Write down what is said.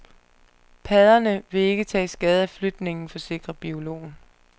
Padderne vil ikke tage skade af flytningen, forsikrer biologen.